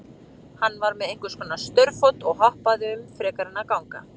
Hann var með einhvers konar staurfót og hoppaði um frekar en að ganga.